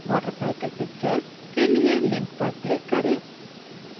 watercycle picture के लिए link पर click करें